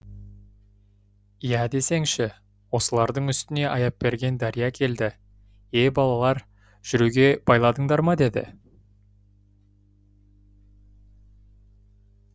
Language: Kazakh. иә десеңші осылардың үстіне аяпберген дария келді е балалар жүруге байладыңдар ма деді